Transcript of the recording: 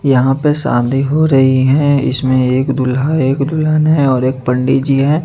यहां पे शादी हो रही है इसमें एक दूल्हा एक दुल्हन है और एक पंडि जी है--